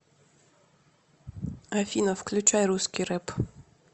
афина включай русский рэп